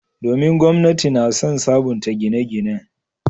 Domin, gwamnati na son sabunta gine-ginen.